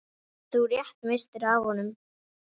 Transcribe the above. Þú rétt misstir af honum.